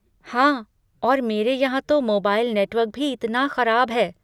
हाँ और मेरे यहाँ तो मोबाइल नेटवर्क भी इतना खराब है।